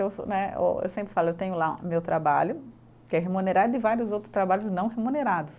Eu né, eu sempre falo eu tenho lá meu trabalho, que é remunerado, e vários outros trabalhos não remunerados.